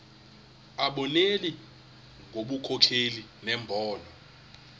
abonelele ngobunkokheli nembono